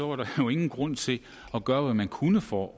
var der jo ingen grund til at gøre hvad man kunne for